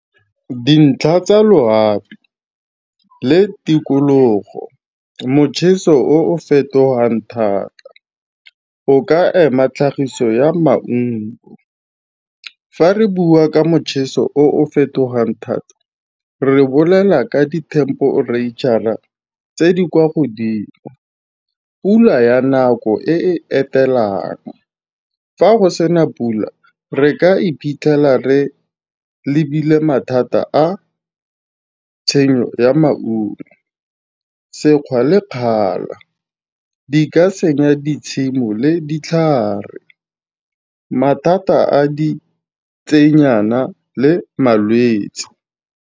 Dintlha tsa loapi le tikologo. Mocheso o o fetogang thata, o ka ema tlhagiso ya maungo. Fa re bua ka mocheso o o fetogang thata re bolela ka dithemperetšhara tse di kwa godimo, pula ya nako e e etelwang. Fa go sena pula re ka iphitlhela re lebile mathata a tshenyo ya maungo. Sekgwa le kgala, di ka senya ditshimo le ditlhare, mathata a ditsenyana le malwetse.